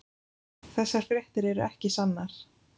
Þessar fréttir eru ekki sannar.